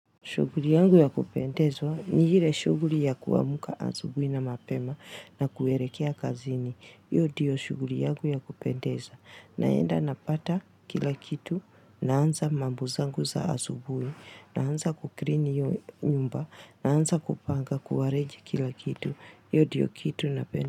Shughuli yangu ya kupendezwa ni ile shughuli ya kuamka asubuhi na mapema na kuelekea kazini. Hiyo ndiyo shughuli yangu ya kupendezwa. Naenda napata kila kitu, naanza mambo zangu za asubuhi, naanza kusafisha nyumba, naanza kupanga na ku arrange kila kitu. Hiyo ndiyo kitu napenda.